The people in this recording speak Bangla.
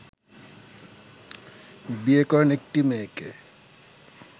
বিয়ে করেন একটি মেয়েকে